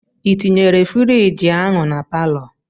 I tinyere frigi ahụ na palọ?